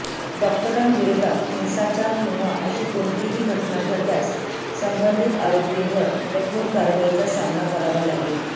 डॉक्टरांविरोधात हिंसाचार किंवा अशी कोणतीही घटना घडल्यास संबंधित आरोपींवर कठोर कारवाईचा सामना करावा लागेल